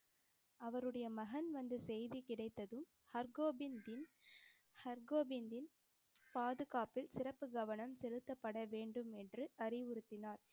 அவருடைய மகன் வந்த செய்தி கிடைத்ததும் ஹர்கோவிந்தின் ஹர்கோவிந்தின் பாதுகாப்பில் சிறப்பு கவனம் செலுத்தப்பட வேண்டும் என்று அறிவுறுத்தினார்.